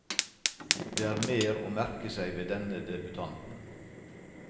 Det er mer å merke seg ved denne debutanten.